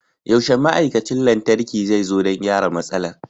Yaushe ma'aikacin lantarki zai zo don gyara matsalar?